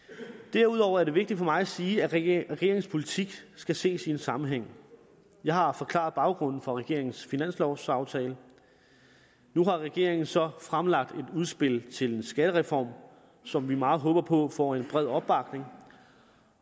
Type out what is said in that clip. derudover er det vigtigt for mig at sige at regeringens politik skal ses i en sammenhæng jeg har forklaret baggrunden for regeringens finanslovaftale nu har regeringen så fremlagt et udspil til en skattereform som vi meget håber på får en bred opbakning